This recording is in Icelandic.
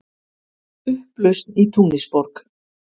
Upplausn í Túnisborg